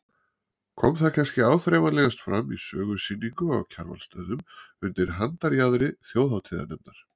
Kom það kannski áþreifanlegast fram í sögusýningu á Kjarvalsstöðum undir handarjaðri þjóðhátíðarnefndar.